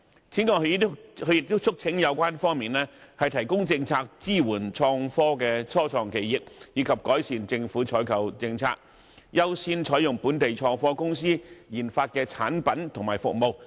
此外，他亦促請有關方面提供政策，支援創科的初創企業，以及改善政府的採購政策，優先採用本港創科公司研發的產品和服務。